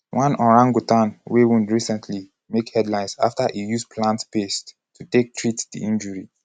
one orangutan wey wound recently make headlines afta e use plant paste to take treat di injury.